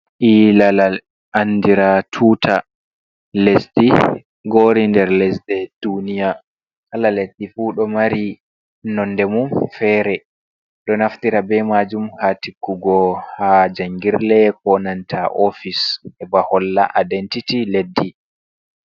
Iilalal, anndiraaɗum tuuta lesdi ngoori nder lesɗe duuniya, kala leddi fuu ɗo mari nonnde mum feere, ɗo naftira bee maajum haa tiggugo haa janngirle koo nanta oofis heɓa holla adentiti leddi.